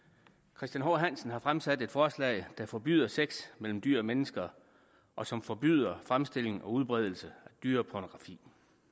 christian h hansen har fremsat et forslag der forbyder sex mellem dyr og mennesker og som forbyder fremstilling og udbredelse af dyrepornografi